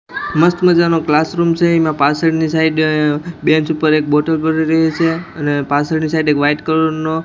મસ્ત મજાનો ક્લાસરૂમ છે ઈમા પાછળની સાઈડ બેન્ચ ઉપર એક બોટલ પડી રહી છે અને પાછળની સાઈડ એક વાઈટ કલર નો --